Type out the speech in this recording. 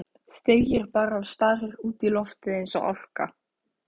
Þegir bara og starir út í loftið eins og álka.